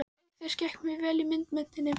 Auk þess gekk mér vel í myndmenntinni.